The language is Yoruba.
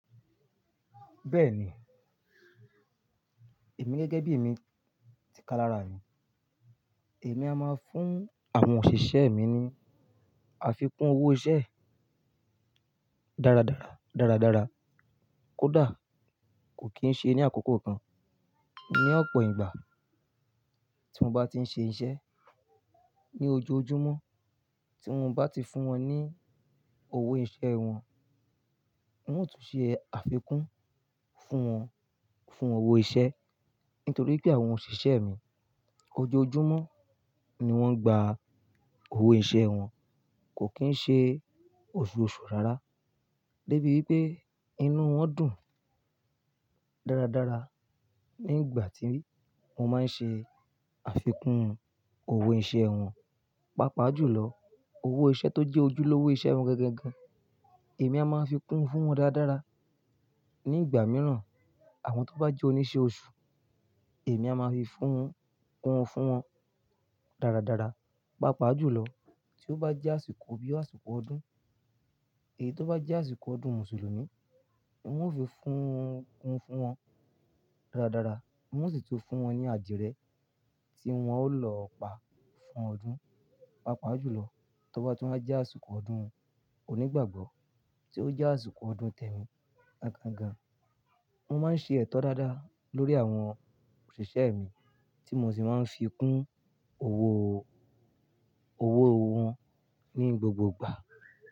Bẹ́ẹ̀ni, èmi gẹ́gẹ́ bí mi ti ká lára yìí, èmi a máa ń fún àwọn òṣìṣẹ́ mi ní àfikún owó iṣẹ́ dáradára, dáradára kódà kò kí ń ṣe ní àkókò kan. Ní ọ̀pọ̀ ìgbà tí mo bá ti ń ṣe iṣẹ́ ní ojoojúmọ́, tí mo bá ti fún wọn ní owó iṣẹ́ wọn, oun tún ṣe àfikún fún wọn, fún owó iṣẹ́. Nítorí pé àwọn òṣìṣẹ́ mi ojoojúmọ́ ni wọ́n gba owó iṣẹ́ wọn, kò kí ń ṣe oṣùọ̀ṣù rárá. Gẹ́bi bí pé inú wọn dùn dáradára nígbà tí mo máa ń ṣe àfikún owó iṣẹ́ wọn. Pápá jùlọ owó iṣẹ́ tó jẹ́ ojúlówó iṣẹ́ wọn gangan gan, èmi a máa fi kún fún wọn dáradára. Nígbà mìíràn, àwọn tó bá jẹ́ oníṣẹ́ oṣù, èmi a máa fi fún, kún fún wọn dáradára. Pápá jùlọ tí ó bá jẹ́ àsìkò bí àsìkò ọdún, èyí tó bá jẹ́ àsìkò ọdún Mùsùlùmí, mo fi fún, kún fún wọn dáradára. Mo sì tó fún wọn ní àdìye tí wọn ó lọ pa fún ọdún. Pápá jùlọ tí ó bá tí wọ́n jẹ́ àsìkò ọdún onígbàgbọ́, tí ó jẹ́ àsìkò ọdún tẹ̀mí gangangán. Mo máa ń ṣe ètò dáadáa lórí àwọn òṣìṣẹ́ mi tí mo sì máa ń fi kún owó, owó wọn ní gbogbo ìgbà.